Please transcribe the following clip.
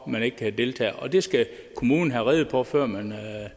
man ikke kan deltage og det skal kommunen have rede på før den